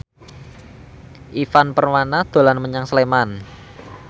Ivan Permana dolan menyang Sleman